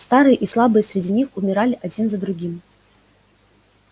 старые и слабые среди них умирали один за другим